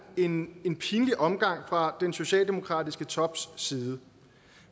en en pinlig omgang fra den socialdemokratiske tops side